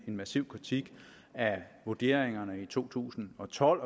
massiv kritik af vurderingerne i to tusind og tolv